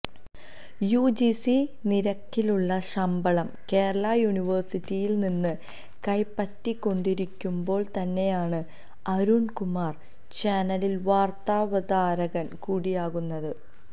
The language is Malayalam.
യുജിസി നിരക്കിലുള്ള ശമ്പളം കേരളാ യൂണിവേഴ്സിറ്റിയിൽ നിന്ന് കൈപ്പറ്റിക്കൊണ്ടിരിക്കുമ്പോൾ തന്നെയാണ് അരുൺകുമാർ ചാനലിൽ വാർത്താവതാരകൻ കൂടിയാകുന്നത്